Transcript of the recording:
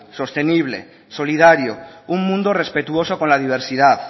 sostenible solidario un mundo respetuoso con la diversidad